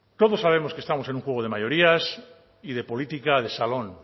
todos sabemos que estamos en un juego de mayorías y de política de salón